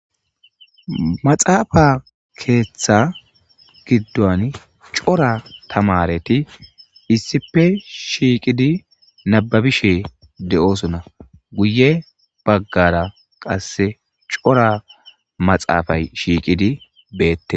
Maxafeza ketha gidon cora tamareti issipe shiqidi nababishe de'osona guy bagara qase Cora maxafay shiqidi betes